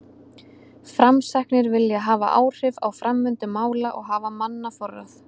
Framsæknir vilja hafa áhrif á framvindu mála og hafa mannaforráð.